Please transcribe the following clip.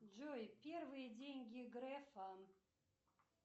джой первые деньги грефа